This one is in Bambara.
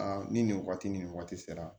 ni nin waati ni waati sera